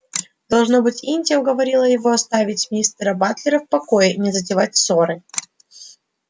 должно быть индия уговорила его оставить мистера батлера в покое и не затевать ссоры